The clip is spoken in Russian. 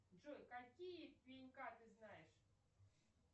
джой какие пенька ты знаешь